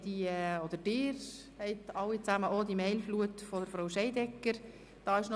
Wir oder Sie alle haben auch die eine E-Mail-Flut von Frau Scheidegger erhalten.